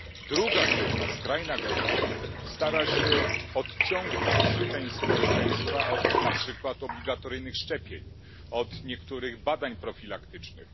Druga grupa skrajna grupa stara się odciągnąć część społeczeństwa od, na przykład, obligatoryjnych szczepień, od niektórych badań profilaktycznych.